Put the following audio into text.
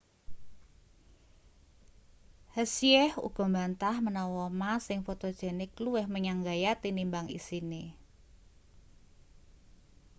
hsieh uga mbantah menawa ma sing fotogenik luwih menyang gaya tinimbang isine